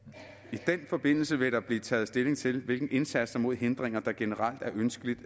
i den forbindelse vil der blive taget stilling til hvilke indsatser mod hindringer der generelt er ønskeligt